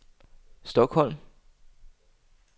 Stockholm